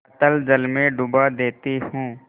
अतल जल में डुबा देती हूँ